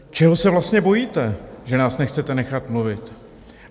Čeho se vlastně bojíte, že nás nechcete nechat mluvit?